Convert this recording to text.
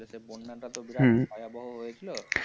দেশে বন্যাটা তো বিরাট ভয়াবহ হয়েছিল। হুম।